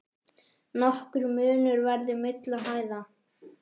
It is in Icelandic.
Nokkur munur verði milli hæða.